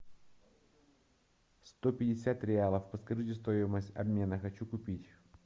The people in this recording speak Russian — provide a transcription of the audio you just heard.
сто пятьдесят реалов подскажите стоимость обмена хочу купить